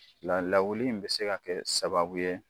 La lawuli in bɛ se ka kɛ sababu ye